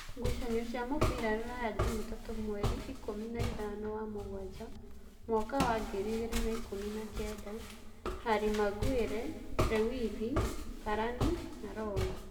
Ngucanio cia mũbira Ruraya Jumatatũ mweri ikũmi naithano wa mũgwanja mwaka wa ngiri igĩrĩ na ikũmi na kenda: Harĩ Maguere, Lewithi, Kerani, Roy